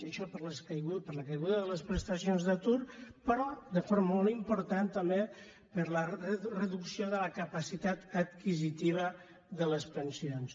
això per la caiguda de les prestacions d’atur però de forma molt important també per la reducció de la capacitat adquisitiva de les pensions